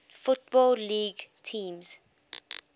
football league teams